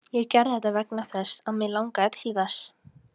Ég gerði þetta vegna þess eins að mig langaði til þess.